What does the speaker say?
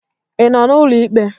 Ị nọ n'ụlọ ikpe?